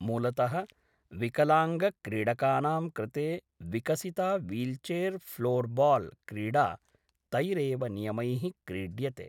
मूलतः विकलाङ्गक्रीडकानां कृते विकसिता वील्चेर् फ़्लोर्बाल् क्रीडा तैरेव नियमैः क्रीड्यते।